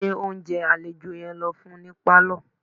Gbé oúnjẹ àlejò yẹn lọ fún un ní pálọ̀